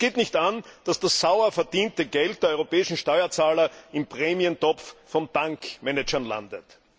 Es geht nicht an, dass das sauer verdiente Geld der europäischen Steuerzahler im Prämientopf von Bankmanagern landet.